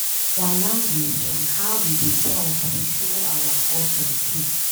Our language and how we dey talk dey show our culture too.